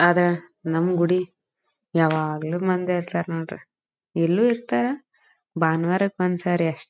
ಆದ್ರೆ ನಮ್ ಗುಡಿ ಯಾವಾಗ್ಲೂ ಮಂದಿ ಇರ್ತಾರೆ ನೋಡ್ರಿ ಇಲ್ಲು ಇರ್ತಾರೆ ಭಾನುವಾರಕ್ಕೆ ಒಂದ್ ಸಾರಿ ಅಷ್ಟ್--